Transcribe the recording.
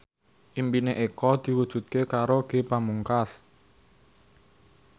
impine Eko diwujudke karo Ge Pamungkas